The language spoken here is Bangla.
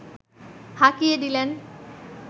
হাঁকিয়ে দিলেন